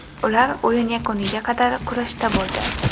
Ular o‘yin yakuniga qadar kurashda bo‘ldi.